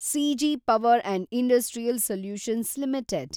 CG Power and Industrial Solutions limited